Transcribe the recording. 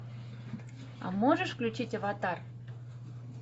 а можешь включить аватар